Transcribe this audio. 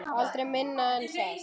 Aldrei minna en það.